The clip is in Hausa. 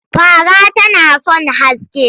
Fara tana son haske.